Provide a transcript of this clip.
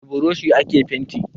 Da buroshi ake fenti